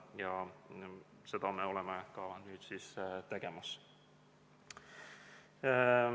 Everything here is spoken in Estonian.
Just seda me nüüd siin teeme.